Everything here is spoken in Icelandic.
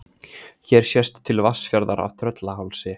Hér sést til Vatnsfjarðar af Tröllahálsi.